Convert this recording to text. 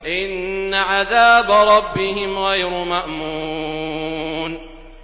إِنَّ عَذَابَ رَبِّهِمْ غَيْرُ مَأْمُونٍ